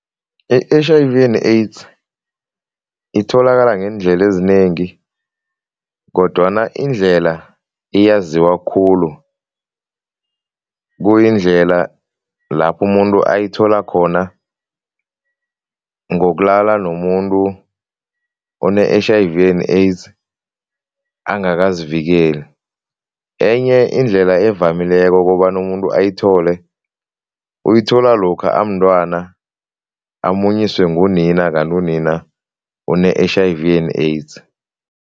I-H_I_V and AIDS itholakala ngeendlela ezinengi kodwana indlela eyaziwa khulu kuyindlela lapho umuntu ayithola khona ngokulala nomuntu one-H_I_V and AIDS angakazivikeli. Enye indlela evamileko kobana umuntu ayithole, uyithola lokha amntwana, amunyiswe ngunina kanti unina ene-H_I_V and AIDS.